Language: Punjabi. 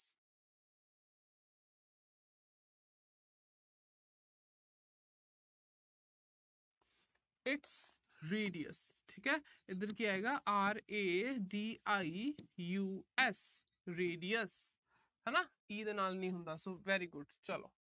its radius ਠੀਕ ਆ। ਇਧਰ ਕੀ ਆਏਗਾ radius radius ਹਨਾ e ਦੇ ਨਾਲ ਨਹੀਂ ਹੁੰਦਾ ਹਨਾ। so very good ਚਲੋ।